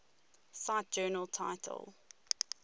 cite journal title